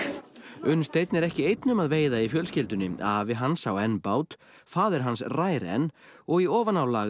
Unnsteinn er ekki einn um að veiða í fjölskyldunni afi hans á enn bát faðir hans rær enn og í ofanálag er